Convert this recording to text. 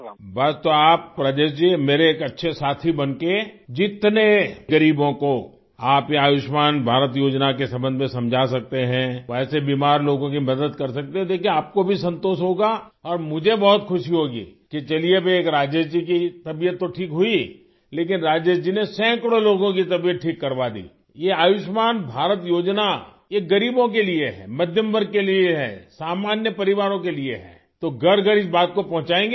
بس تو آپ راجیش جی، میرے ایک اچھے ساتھی بن کر جنتے غریبوں کو آپ یہ آیوشمان بھارت اسکیم کے بارے میں سمجھا سکتے ہیں، ویسے بیمار لوگوں کی مدد کر سکتے ہیں، دیکھئے آپ کو بھی سکون ہوگا اور مجھے بہت خوشی ہوگی کہ چلئے کی ایک راجیش جی کی طبیعت تو ٹھیک ہوئی لیکن راجیش جی نے سینکڑوں لوگوں کی طبیعت ٹھیک کروادی، یہ آیوشمان بھارت اسکیم، یہ غریبوں کے لیے ہے، یہ متوسط طبقے کے لیے ہے، یہ عام خاندانوں کے لیے ہے، تو گھر گھر اس بات کو پہنچائیں گے آپ